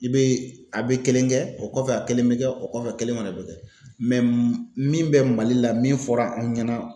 I bɛ a bɛ kelen kɛ o kɔfɛ a kelen bɛ kɛ o kɔfɛ kelen fana bɛ kɛ min bɛ Mali la min fɔra anw ɲɛna